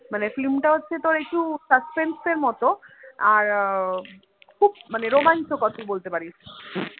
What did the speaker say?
মানে film টা হচ্ছে একটু suspense এর মত আর উহ খুব রোমাঞ্চকর তুই বলতে পারিস